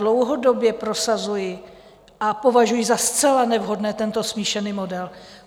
Dlouhodobě prosazuji a považuji za zcela nevhodný tento smíšený model.